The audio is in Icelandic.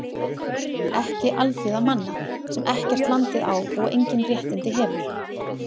Ekki alþýða manna, sem ekkert landið á og engin réttindi hefur.